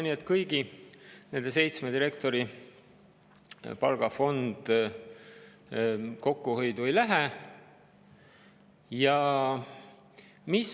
Nii et kõigi seitsme direktori palgafond kokkuhoiu alla ei lähe.